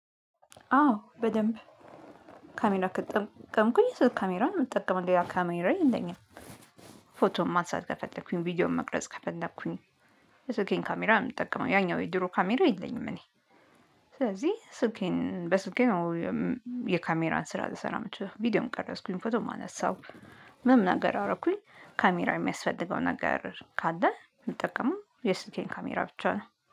አዎ በደንብ ካሜራ ከተጠቀምኩኝ ካሜራውን እጠቀማለሁ ያ ካሜራው የለኝም ፎቶ ማንሳት ከፈለኩኝ ቪዲዮም መቅረጽ ከፈለኩኝ። የስልኬን ካሜራ እው ይውምጠቀመው ያኛው የድሮ ካሜራ የለኝም እኔ ስለዚህ ስልኬን በስልኬ ነው። የካሜራን ስራ ልሰራ የምችለው ቪዲዮም ቀረጽኩኝ ፎቶ ማነሳው። ምንም ነገር አደረኩኝ ካሜራ የሚያስፈልገው ነገር ካለ የምጠቀመው የስልሜን ካሜራ ብቻ ነው